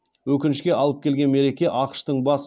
өкінішке алып келген мереке ақш тың бас